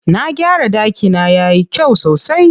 Na gyara ɗakina yayi kyau sosai.